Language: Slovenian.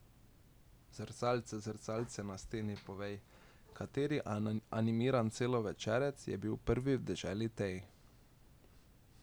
Zrcalce, zrcalce na steni povej, kateri animiran celovečerec je bil prvi v deželi tej?